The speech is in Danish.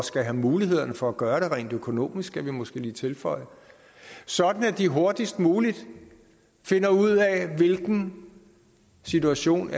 skal have mulighederne for at gøre det rent økonomisk skal vi måske lige tilføje sådan at de hurtigst muligt finder ud af hvilken situation